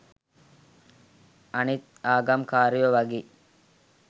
අනිත් ආගම් කාරයෝ වගේ